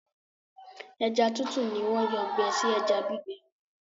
ẹja tútù ní wón Yàn gbé sí ẹja gbígbẹ.